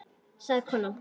sagði konan.